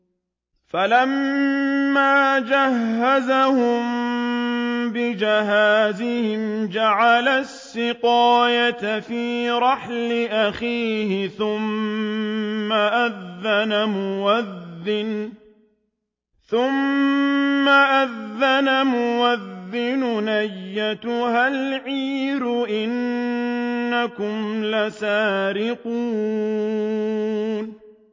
فَلَمَّا جَهَّزَهُم بِجَهَازِهِمْ جَعَلَ السِّقَايَةَ فِي رَحْلِ أَخِيهِ ثُمَّ أَذَّنَ مُؤَذِّنٌ أَيَّتُهَا الْعِيرُ إِنَّكُمْ لَسَارِقُونَ